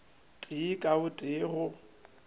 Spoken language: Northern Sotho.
tee ka o tee go